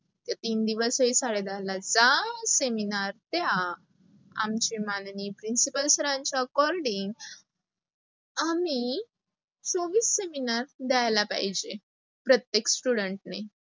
ते तीन दिवस ही साडे दहाला जा seminar त या. आमचे माननीय principal sir च्या according आम्ही चोवीस seminar द्यायला पाहिजे. प्रत्येक student ने